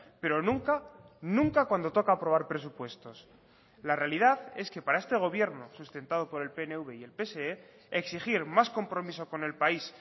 pero nunca nunca cuando toca aprobar presupuestos la realidad es que para este gobierno sustentado por el pnv y el pse exigir más compromiso con el país